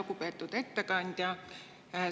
Lugupeetud ettekandja!